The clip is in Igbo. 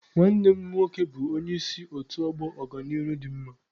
Nwanne m nwoke bụ onye isi otu ọgbọ Ọganihu dị mma.